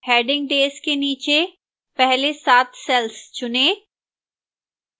heading days के नीचे पहले सात cells चुनें